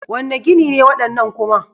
Wane gini ne waɗannan kuma?